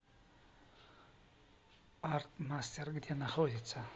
артмастер где находится